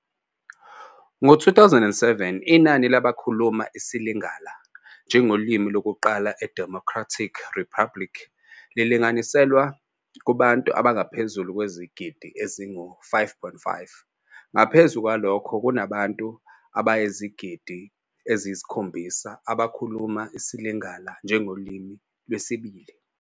Ngo-2007 inani labakhuluma isiLingala njengolimi lokuqala eDemocratic Republic lilinganiselwa kubantu abangaphezu kwezigidi ezingu-5.5, ngaphezu kwalokho kunabantu abayizigidi eziyisikhombisa abakhuluma isiLingala njengolimi lwesibili.